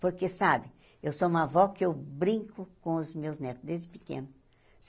Porque, sabe, eu sou uma avó que eu brinco com os meus netos, desde pequena.